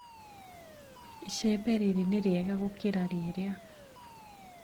Icembe rĩrĩ nĩrĩega gũkĩra rĩrĩa.